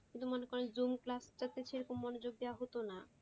সেটা মনে করেন zoom class টা তে সেরকম মনোযোগ দেওয়া হতোনা।